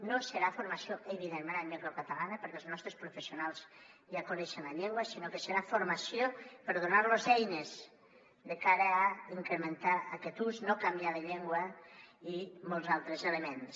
no serà formació evidentment en llengua catalana perquè els nostres professionals ja coneixen la llengua sinó que serà formació per donar los eines de cara a incrementar ne aquest ús no canviar de llengua i molts altres elements